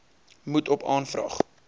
moet op aanvraag